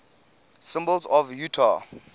symbols of utah